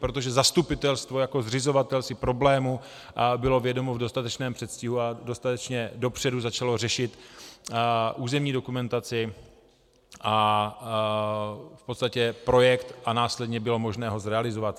Protože zastupitelstvo jako zřizovatel si problému bylo vědomo v dostatečném předstihu a dostatečně dopředu začalo řešit územní dokumentaci a v podstatě projekt a následně bylo možno ho zrealizovat.